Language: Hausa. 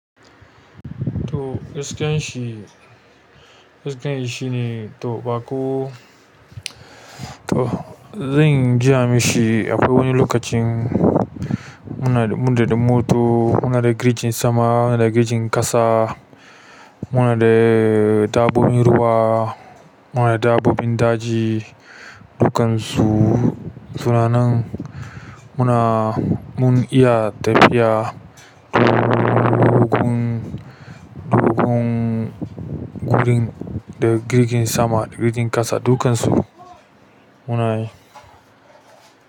To iskan shi, iskan shi shine to ba ko, to zan giya mishi akwai wani lokacin muna, mun daɗa mota, muna da girjin sama, muna da girjin ƙasa, muna da dabbobin ruwa, muna da dabbobin daji, dukan su suna nan. Muna, mun iya tafiya dogun, dogon gurin da jirgin sama da jirgin ƙasa dukansu munayi.